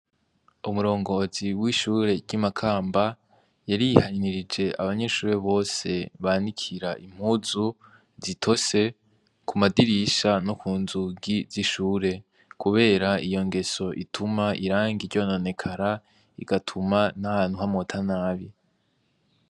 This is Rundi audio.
Umurongozi w'ishure ry'i Makamba, yarihanikirije abanyeshure bose banikira impuzu zitose ku madirisha no ku nzugi z'ishure, kubera iyo ngeso ituma irangi ryononekara, igatuma n'ahantu hamota nabi.